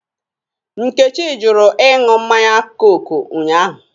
Nkechi jụrụ ịṅụ mmanya kooku unyaahụ.